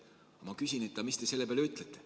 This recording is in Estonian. Aga ma küsin, et mis te selle peale ütlete.